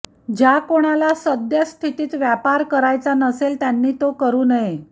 ज्या कोणाला सद्यःस्थितीत व्यापार करायचा नसेल त्यांनी तो करू नये